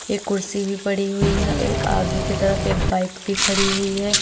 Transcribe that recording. यह कुर्सी भी पड़ी हुई है ए आगे की तरफ एक बाइक भी खड़ी हुई है।